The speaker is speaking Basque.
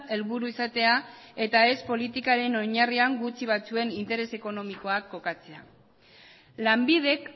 helburu izatea eta ez politikaren oinarrian gutxi batzuen interes ekonomikoak kokatzea lanbidek